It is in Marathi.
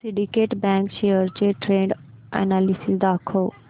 सिंडीकेट बँक शेअर्स चे ट्रेंड अनॅलिसिस दाखव